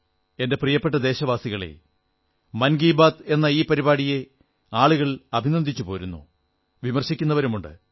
എന്റെ പ്രിയപ്പെട്ട ദേശവസികളേ മൻ കീ ബാത്ത് എന്ന ഈ പരിപാടിയെ ആളുകൾ അഭിനന്ദിച്ചുപോരുന്നു വിമർശിക്കുന്നുമുണ്ട്